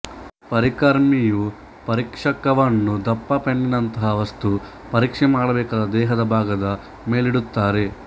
ಪರಿಕರ್ಮಿಯು ಪರೀಕ್ಷಕವನ್ನುದಪ್ಪ ಪೆನ್ನಿನಂತಹ ವಸ್ತು ಪರೀಕ್ಷೆ ಮಾಡಬೇಕಾದ ದೇಹದ ಭಾಗದ ಮೇಲಿಡುತ್ತಾರೆ